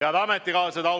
Head ametikaaslased!